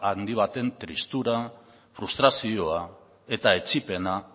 handi baten tristura frustrazioa eta etsipena